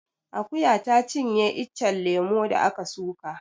Akuya ta cinye iccen lemo da ka suka